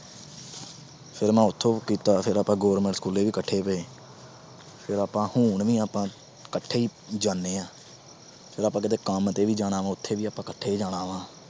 ਫਿਰ ਮੈਂ ਉਥੋਂ ਕੀਤਾ, ਫਿਰ ਆਪਾ government school ਵੀ ਕੱਠੇ ਗਏ। ਫਿਰ ਆਪਾ ਹੁਣ ਵੀ ਆਪਾ ਕੱਠੇ ਈ ਜਾਣੇ ਆ। ਫਿਰ ਆਪਾ ਕੰਮ ਤੇ ਵੀ ਜਾਣਾ, ਉਥੇ ਵੀ ਆਪਾ ਕੱਠੇ ਈ ਜਾਣਾ ਵਾ।